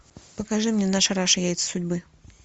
покажи мне наша раша яйца судьбы